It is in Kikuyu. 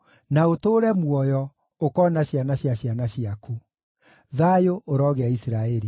na ũtũũre muoyo, ũkoona ciana cia ciana ciaku. Thayũ ũrogĩa Isiraeli.